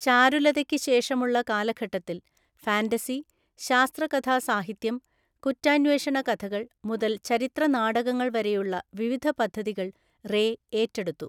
ചാരുലതയ്ക്ക് ശേഷമുള്ള കാലഘട്ടത്തിൽ, ഫാന്റസി, ശാസ്‌ത്രകഥാസാഹിത്യം, കുറ്റാന്വേഷണ കഥകൾ മുതൽ ചരിത്ര നാടകങ്ങൾ വരെയുള്ള വിവിധ പദ്ധതികൾ റേ ഏറ്റെടുത്തു.